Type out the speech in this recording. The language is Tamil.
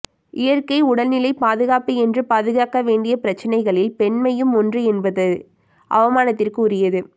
இயற்கை உடல்நிலை பாதுகாப்பு என்று பாதுகாக்க வேண்டிய பிரச்சனைகளில் பெண்மையும் ஒன்று என்பது அவமானத்திற்கு உரியது